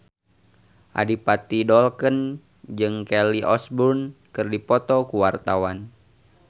Adipati Dolken jeung Kelly Osbourne keur dipoto ku wartawan